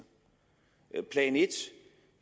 plan en